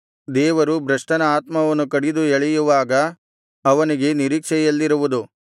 ದೇವರು ಭ್ರಷ್ಟನ ಆತ್ಮವನ್ನು ಕಡಿದು ಎಳೆಯುವಾಗ ಅವನಿಗೆ ನಿರೀಕ್ಷೆಯೆಲ್ಲಿರುವುದು